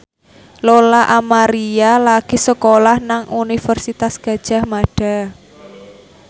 Lola Amaria lagi sekolah nang Universitas Gadjah Mada